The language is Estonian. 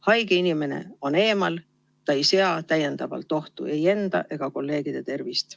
Haige inimene on eemal, ta ei sea täiendavalt ohtu ei enda ega kolleegide tervist.